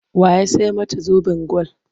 Wa ya sai mata zoben gwal?